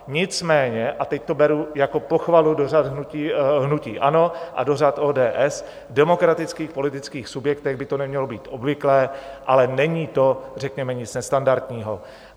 Nicméně, a teď to beru jako pochvalu do řad hnutí ANO a do řad ODS, v demokratických politických subjektech by to nemělo být obvyklé, ale není to řekněme nic nestandardního.